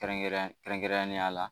Kɛrɛnkɛrɛn kɛrɛnkɛrɛnnenya la